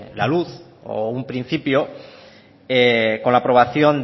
la luz o un principio con la aprobación